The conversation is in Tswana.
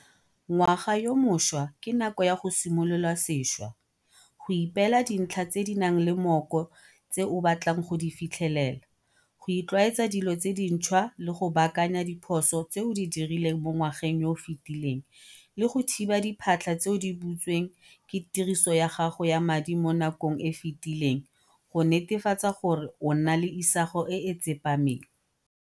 Ngwaga yo mošwa ke nako ya go simolola sešwa, go ipeela dintlha tse di nang le mooko tse o batlang go di fitlhelela, go itlwaetsa dilo tse dintšhwa le go baakanya diphoso tse o di dirileng mo ngwageng yo o fetileng le go thiba diphatlha tse di butsweng ke tiriso ya gago ya madi mo nakong e e fetileng go netefatsa gore o nna le isago e e tsepameng.